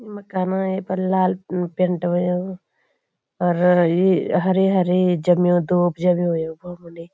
यु मकान ये पर लाल पेंट हुयुं और ये हरी-हरी जम्युं दूब जम्युं यखुफुनी।